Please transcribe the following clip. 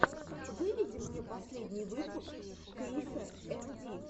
выведи мне последний выпуск криса эм ди